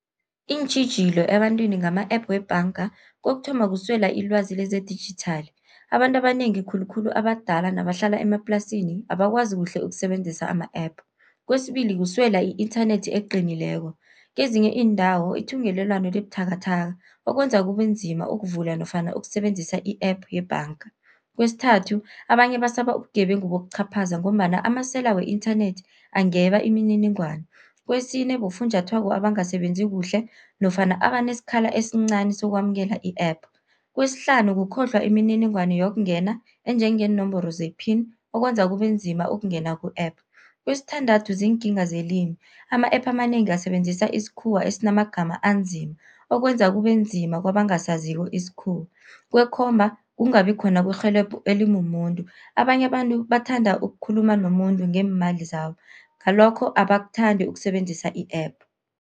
Iintjhijilo ebantwini ngama-app webhanga, kokuthoma kuswela ilwazi lezedijithali, abantu abanengi khulukhulu abadala nabahlala emaplasini abakwazi kuhle ukusebenzisa ama-app. Kwesibili kuswela i-inthanethi eqinileko, kezinye iindawo ithungelelwano liba buthakathaka, okwenza kube nzima ukuvula nofana ukusebenzisa i-app yebhanga. Kwesithathu abanye basaba ubugebengu bokuchaphaza, ngombana amasela we-inthanethi angeba imininingwana. Kwesine bofunjathwako abangasebenzi kuhle nofana abanesikhala esincani sokwamukela i-app. Kwesihlanu kukhohlwa imininingwana yokungena enjengeenomboro ze-pin, okwenza kube nzima ukungena ku-app. Kwesithandathu ziinkinga zelimi. ama-app amanengi asebenzisa isikhuwa esinamagama anzima, okwenza kube nzima kabangasaziko isikhuwa. Kwekhomba kungabi khona kwerhelebho elimumuntu, abanye abantu bathanda ukukhuluma nomuntu ngeemali zabo, ngalokho abakuthandi ukusebenzisa i-app.